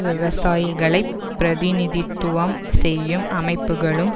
விவசாயிகளைப் பிரதிநிதித்துவம் செய்யும் அமைப்புக்களும்